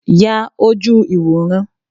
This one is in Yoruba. Ya ojú ìwòran!